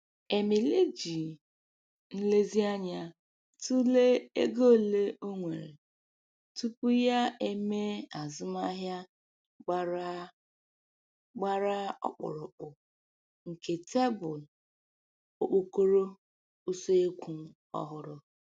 Emily ji nlezianya tụlee ego ole o nwere tupu ya e mee azụmaahịa gbara gbara ọkpụrụkpụ nke tebụl (okpokoro) useekwu ọhụrụ.